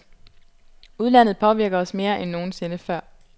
Udlandet påvirker os mere end nogen sinde før.